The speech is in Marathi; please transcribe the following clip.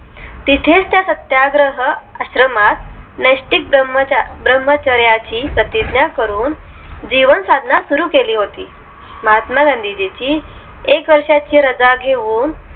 तिथेच त्या सत्याग्रह आश्रमात नेस्टीक ब्राह्मचर्याची प्रतिज्ञा करून जीवन साधना सुरु केली होती महात्मा गांधीजींची एक वर्षाची रजा घेऊन